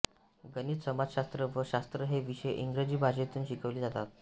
गणित समाजशास्त्र व शास्त्र हे विषय इंग्रजी भाषेतून शिकविले जातात